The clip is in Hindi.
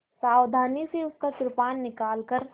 सावधानी से उसका कृपाण निकालकर